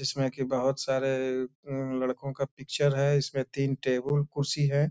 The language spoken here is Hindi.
जिसमें की बहुत सारे उ लड़को का पिक्चर है। इसमें तीन टेबूल कुर्सी है।